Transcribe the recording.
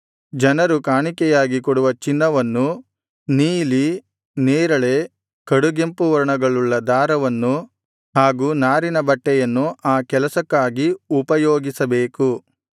ಜನರು ಕಾಣಿಕೆಯಾಗಿ ಕೊಡುವ ಚಿನ್ನವನ್ನು ನೀಲಿ ನೇರಳೆ ಕಡುಗೆಂಪು ವರ್ಣಗಳುಳ್ಳ ದಾರವನ್ನು ಹಾಗೂ ನಾರಿನ ಬಟ್ಟೆಯನ್ನು ಆ ಕೆಲಸಕ್ಕಾಗಿ ಉಪಯೋಗಿಸಬೇಕು